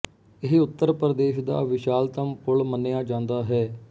ਇਹ ਉੱਤਰ ਪ੍ਰਦੇਸ਼ ਦਾ ਵਿਸ਼ਾਲਤਮ ਪੁਲ ਮੰਨਿਆ ਜਾਂਦਾ ਹੈ